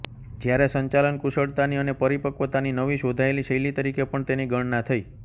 જ્યારે સંચાલન કુશળતાની અને પરિપક્વતાની નવી શોધાયેલી શૈલી તરીકે પણ તેની ગણના થઇ